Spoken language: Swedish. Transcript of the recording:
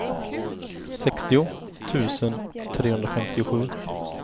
sextio tusen trehundrafemtiosju